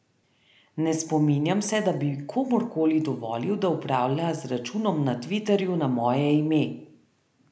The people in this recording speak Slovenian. Ne spominjam se, da bi komurkoli dovolil, da upravlja z računom na tviterju na moje ime.